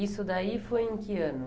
Isso daí foi em que ano?